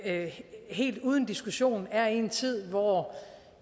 at vi helt uden diskussion er i en tid hvor